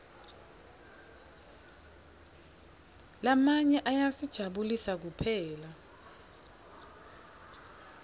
lamanye ayasijabulisa kuphela